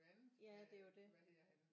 Ja det er jo det